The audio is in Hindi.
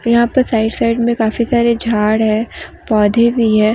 यहां पर साइड साइड में काफी सारे झाड़ है पौधे भी है।